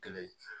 Kelen